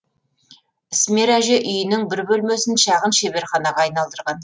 ісмер әже үйінің бір бөлмесін шағын шеберханаға айналдырған